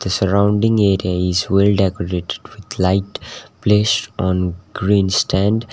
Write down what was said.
the surrounding area is well decorated with light placed on green stand.